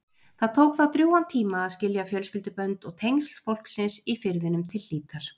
Það tók þá drjúgan tíma að skilja fjölskyldubönd og tengsl fólksins í firðinum til hlítar.